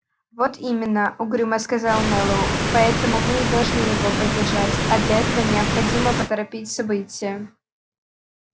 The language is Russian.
вот именно угрюмо сказал мэллоу поэтому мы и должны его поддержать а для этого необходимо поторопить события